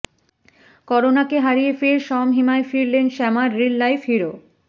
করোনাকে হারিয়ে ফের স্বমহিমায় ফিরলেন শ্যামার রিল লাইফ হিরো